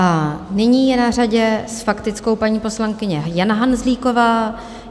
A nyní je na řadě s faktickou paní poslankyně Jana Hanzlíková.